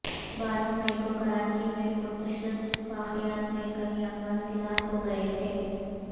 بارہ مئی کو کراچی میں پرتشدد واقعات میں کئی افراد ہلاک ہو گئے تھے